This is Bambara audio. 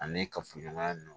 Ani kafoɲɔgɔnya ninnu